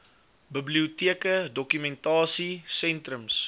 biblioteke dokumentasie sentrums